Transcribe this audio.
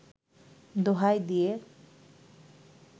দোহাই দিয়ে